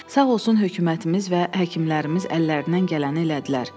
Sağ olsun hökumətimiz və həkimlərimiz əllərindən gələni elədilər.